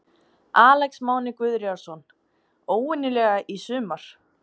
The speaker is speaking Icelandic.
Alex Máni Guðríðarson: Óvenjulega í sumar?